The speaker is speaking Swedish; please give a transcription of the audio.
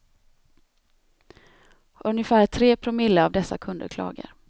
Ungefär tre promille av dessa kunder klagar.